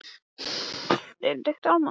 Hnikar, áttu tyggjó?